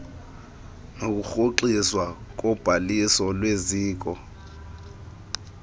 nokurhoxiswa kobhaliso lweziko